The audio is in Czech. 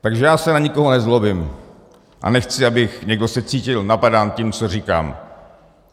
Takže já se na nikoho nezlobím a nechci, aby někdo se cítil napadán tím, co říkám.